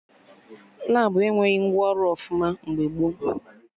Labụ enweghị ngwa ọrụ ọfụma mgbe gboo